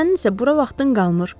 Sənin isə bura vaxtın qalmır.